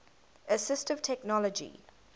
assistive technology